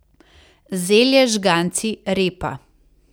Zelje, žganci, repa.